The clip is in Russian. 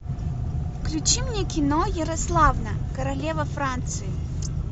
включи мне кино ярославна королева франции